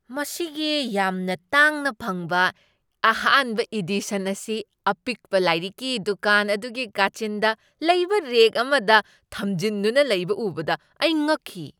ꯃꯁꯤꯒꯤ ꯌꯥꯝꯅ ꯇꯥꯡꯅ ꯐꯪꯕ ꯑꯍꯥꯟꯕ ꯏꯗꯤꯁꯟ ꯑꯁꯤ ꯑꯄꯤꯛꯄ ꯂꯥꯏꯔꯤꯛꯀꯤ ꯗꯨꯀꯥꯟ ꯑꯗꯨꯒꯤ ꯀꯥꯆꯤꯟꯗ ꯂꯩꯕ ꯔꯦꯛ ꯑꯃꯗ ꯊꯝꯖꯤꯟꯗꯨꯅ ꯂꯩꯕ ꯎꯕꯗ ꯑꯩ ꯉꯛꯈꯤ꯫